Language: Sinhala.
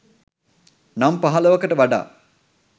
නම් පහලවකට වඩා